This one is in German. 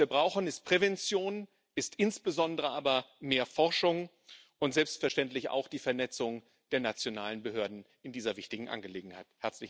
Was wir brauchen, ist Prävention, ist insbesondere aber mehr Forschung und selbstverständlich auch die Vernetzung der nationalen Behörden in dieser wichtigen Angelegenheit.